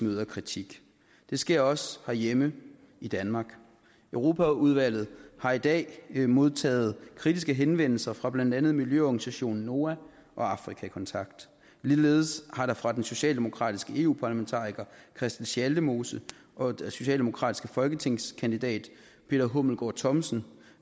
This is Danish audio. møder kritik det sker også herhjemme i danmark europaudvalget har i dag modtaget kritiske henvendelser fra blandt andet miljøorganisationen noah og afrika kontakt ligeledes har der fra den socialdemokratiske eu parlamentariker christel schaldemose og den socialdemokratiske folketingskandidat peter hummelgaard thomsen